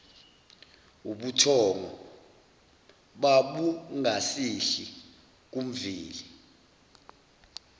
ubuthongo babungasehli kumveli